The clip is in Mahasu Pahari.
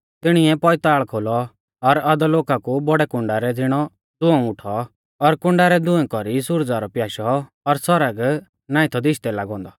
तिणीऐ पौइताल़ खोलौ और अधोलोका कु बौड़ै कुण्डा रै ज़िणौ धुंऔ उठौ और कुण्डा रै धुंऐ कौरी सुरजा रौ प्याशौ और सौरग नाईं थौ दिशदै लागै औन्दौ